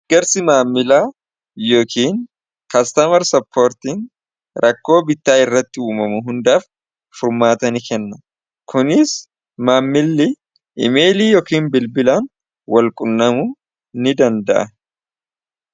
egarsi maammilaa yookiin kastamar soppoortiin rakkoo bittaa irratti uumamu hundaaf furmaata n kenna kuniis maammili imeelii yookiin bilbilaan walqunnamu ni danda'e